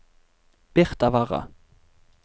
Birtavarre